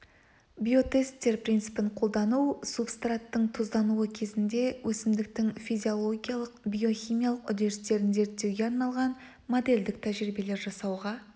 биотесттер принципін қолдану субстраттың тұздануы кезінде өсімдіктің физиологиялық-биохимиялық үдерістерін зерттеуге арналған модельдік тәжірибелер жасауға